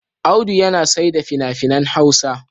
Audu yana saida fina-finan Hausa.